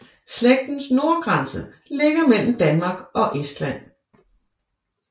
Slægtens nordgrænse ligger mellem Danmark og Estland